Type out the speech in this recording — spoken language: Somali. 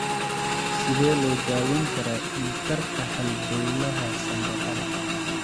Sidee loo daweyn karaa dhiig-karka halbowlaha sambabada?